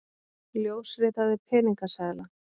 Ljósritaði peningaseðla